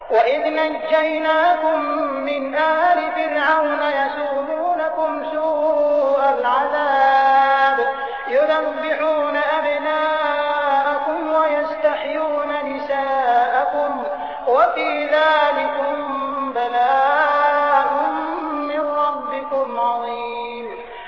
وَإِذْ نَجَّيْنَاكُم مِّنْ آلِ فِرْعَوْنَ يَسُومُونَكُمْ سُوءَ الْعَذَابِ يُذَبِّحُونَ أَبْنَاءَكُمْ وَيَسْتَحْيُونَ نِسَاءَكُمْ ۚ وَفِي ذَٰلِكُم بَلَاءٌ مِّن رَّبِّكُمْ عَظِيمٌ